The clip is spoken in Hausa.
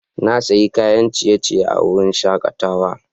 Na sayi kayan ciye-ciye a wurin shakatawa.